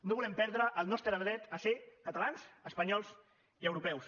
no volem perdre el nostre dret a ser catalans espanyols i europeus